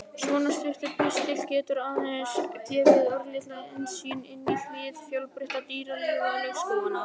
Svona stuttur pistill getur aðeins gefið örlitla innsýn inn í hið fjölbreytta dýralíf laufskóganna.